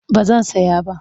Ba zan saya ba.